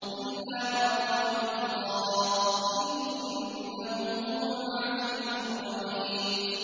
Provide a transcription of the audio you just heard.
إِلَّا مَن رَّحِمَ اللَّهُ ۚ إِنَّهُ هُوَ الْعَزِيزُ الرَّحِيمُ